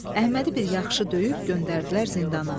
Əhmədi bir yaxşı döyüb göndərdilər zindana.